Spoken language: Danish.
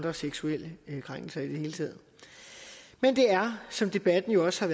og seksuelle krænkelser i det hele taget men det er som debatten jo også har